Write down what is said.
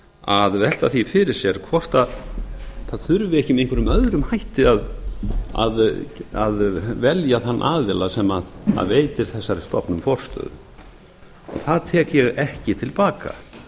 að velta því fyrir sér hvort það þurfi ekki með einhverjum öðrum hætti að velja þann aðila sem veitir þessari stofnun forstöðu það tek ég ekki til baka